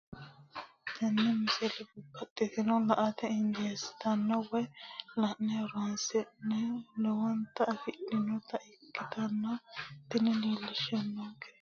tenne misile baxisannonna la"ate injiitanno woy la'ne ronsannire lowote afidhinota ikkitanna tini leellishshannonkeri la'nummoha ikkiro tini misile hunkee fii'nanni sofiteeti.